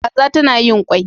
Kaza tana yin kwai